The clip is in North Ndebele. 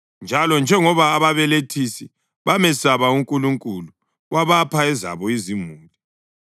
Njalo njengoba ababelethisi bamesaba uNkulunkulu, wabapha ezabo izimuli.